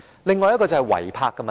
另一個是違泊的問題。